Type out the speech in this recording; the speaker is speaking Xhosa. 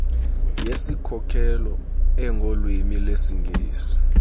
yesikhokelo engolwimi lwesingesi